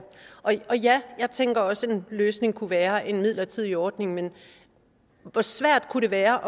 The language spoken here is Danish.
og ja jeg tænker også at en løsning kunne være en midlertidig ordning men hvor svært kunne det være